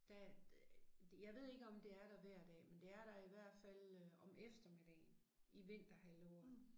Der jeg ved ikke om det er der hver dag men det er der i hvert fald øh om eftermiddagen i vinterhalvåret